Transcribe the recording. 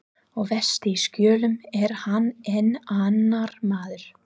Og vestur í Skjólum er hann enn annar maður.